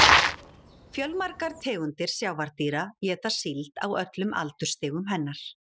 Fjölmargar tegundir sjávardýra éta síld á öllum aldursstigum hennar.